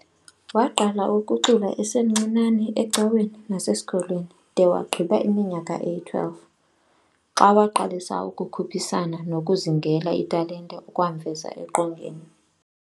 Waqala ukucula esemncinane ecaweni nasesikolweni de wagqiba iminyaka eyi-12, xa waqalisa ukukhuphisana nokuzingela italente okwamveza eqongeni.